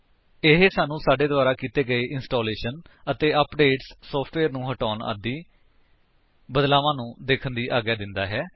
ਇਹ ਸਾਨੂੰ ਸਾਡੇ ਦੁਆਰਾ ਕੀਤੇ ਗਏ ਇੰਸਟਾਲੇਸ਼ਨ ਅਪਡੇਟਸ ਸੋਫਟਵੇਅਰ ਨੂੰ ਹਟਾਉਣ ਆਦਿ ਬਦਲਾਵਾਂ ਨੂੰ ਦੇਖਣ ਦੀ ਆਗਿਆ ਦਿੰਦਾ ਹੈ